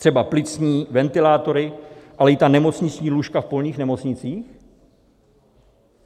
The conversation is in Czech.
Třeba plicní ventilátory, ale i ta nemocniční lůžka v polních nemocnicích?